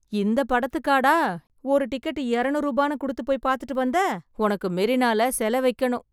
இந்தப் படத்துக்காடா ஒரு டிக்கெட்டு எரனுரு ரூபான்னு குடுத்துப் போய் பாத்துட்டு வந்த . உனக்கு மெரினால செல வைக்கனும்